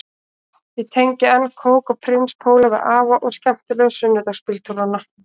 Ég tengi enn kók og prins póló við afa og skemmtilegu sunnudagsbíltúrana